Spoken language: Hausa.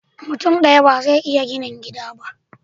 Mutun daya bazai iya gina gida ba